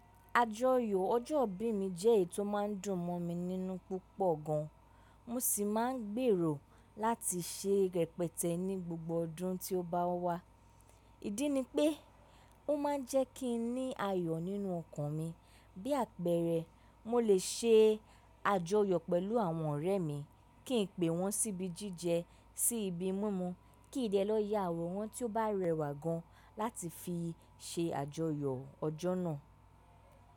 Àjọyọ̀ ọjọ́ ìbí mi jẹ́ èyí tó máa ń dùn mọ̀ mi nínú púpọ̀ gan, mo sì máa ń gbèrò láti ṣe rẹpẹtẹ ní gbogbo ọdún tí ó bá wá. Ídí ni pé ó máa ń jẹ́ kí n ní ayọ̀ nínú ọkàn mi, bí àpẹẹrẹ mo lè ṣe àjọyọ̀ pẹ̀lú àwọn ọ̀rẹ́ mi, kí n pe wọ́n síbi jíjẹ, sí ibi mímú, kì í dẹ lọ yá awọ́ran tí ó bá rẹwà gan láti fi ṣe àjọyọ̀ ọjọ́ náà.